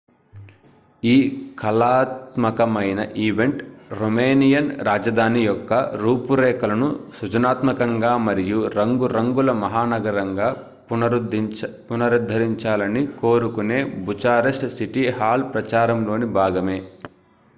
ఈ కళాత్మకమైన event romanian రాజధాని యొక్క రూపురేఖలను సృజనాత్మకంగా మరియు రంగు రంగుల మహానగరంగా పునరుద్ధరించాలని కోరుకొనే bucharest city hall ప్రచారంలోని భాగమే